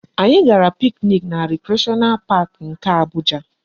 Anyị gara picnic na Recreational Park nke Abuja